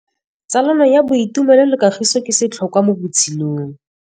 Tsalano ya boitumelo le kagiso ke setlhôkwa mo botshelong.